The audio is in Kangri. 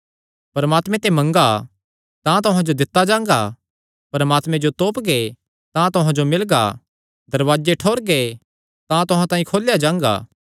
परमात्मे ते मंगा तां तुहां जो दित्ता जांगा परमात्मे जो तोपगे तां तुहां जो मिलगा दरवाजे ठोरगे तां तुहां तांई खोलेया जांगा